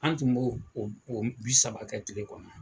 An tun b'o o o bi saba kɛ kile kɔnɔ